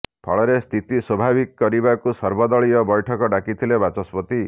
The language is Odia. ଫଳରେ ସ୍ଥିତି ସ୍ୱାଭାବିକ କରିବାକୁ ସର୍ବଦଳୀୟ ବୈଠକ ଡାକିଥିଲେ ବାଚସ୍ପତି